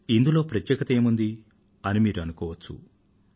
ఇందులో ప్రత్యేకత ఏముందీ అని మీరు అనుకోవచ్చు